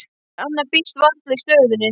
En annað býðst varla í stöðunni.